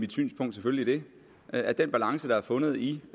mit synspunkt selvfølgelig det at den balance der er fundet i